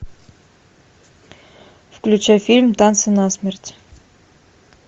включай фильм танцы насмерть